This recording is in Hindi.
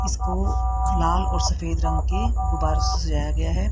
इसको लाल और सफेद रंग के गुब्बारों से सजाया गया है।